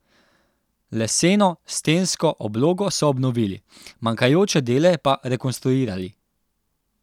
Leseno stensko oblogo so obnovili, manjkajoče dele pa rekonstruirali.